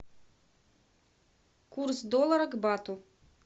курс доллара к бату